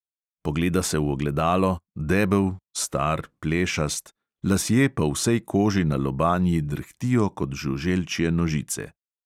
Pogleda se v ogledalo, debel, star, plešast, lasje po vsej koži na lobanji drhtijo kot žuželčje nožice.